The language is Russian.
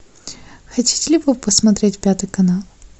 хотите ли вы посмотреть пятый канал